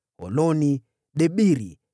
Holoni, Debiri,